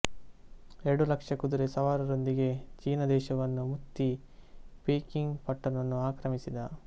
ಎರಡು ಲಕ್ಷ ಕುದುರೆ ಸವಾರರೊಂದಿಗೆ ಚೀನ ದೇಶವನ್ನು ಮುತ್ತಿ ಪೀಕಿಂಗ್ ಪಟ್ಟಣವನ್ನು ಆಕ್ರಮಿಸಿದ